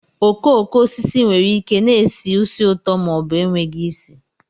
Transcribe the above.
Okooko osisi nwere ike na-esi ísì ụtọ ma ọ bụ enweghị isi